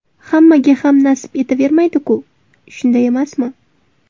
Hammaga ham nasib etavermaydi-ku, shunday emasmi.